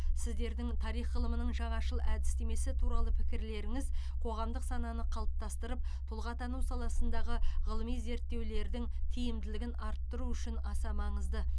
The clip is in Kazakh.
сіздердің тарих ғылымының жаңашыл әдістемесі туралы пікірлеріңіз қоғамдық сананы қалыптастырып тұлғатану саласындағы ғылыми зерттеулердің тиімділігін арттыру үшін аса маңызды